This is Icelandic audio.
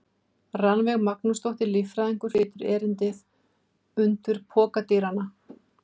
Rannveig Magnúsdóttir, líffræðingur, flytur erindið: Undur pokadýranna.